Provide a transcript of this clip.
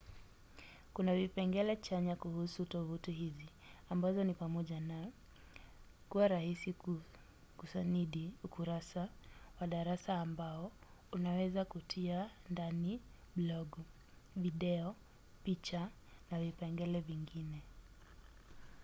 kuna vipengele chanya kuhusu tovuti hizi ambazo ni pamoja na kuwa rahisi kusanidi ukurasa wa darasa ambao unaweza kutia ndani blogu video picha na vipengele vingine